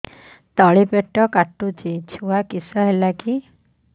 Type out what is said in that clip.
ତଳିପେଟ କାଟୁଚି ଛୁଆ କିଶ ହେଲା କି